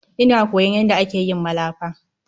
Ina koyon yanda ake yin malafa.